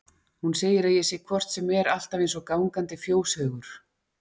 Hún segir að ég sé hvort sem er alltaf eins og gangandi fjóshaugur hló